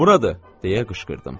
Buradır deyə qışqırdım.